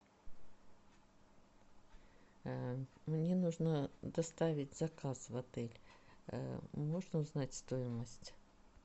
мне нужно доставить заказ в отель можно узнать стоимость